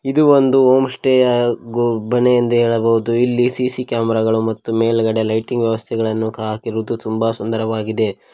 ಇದು ಒಂದು home stay ಗೋ ಮನೆ ಎಂದು ಹೇಳಬಹುದು ಮತ್ತು ಇಲ್ಲಿ ಸಿ_ಸಿ ಕ್ಯಾಮರಾ ಗಳು ಮತ್ತು ಮೇಲ್ಗಡೆ ಲೈಟಿಂಗ್ ವ್ಯವಸ್ಥೆಗಳು ಕಾ ಹಾಕಿರುವುದು ತುಂಬಾ ಸುಂದರವಾಗಿದೆ.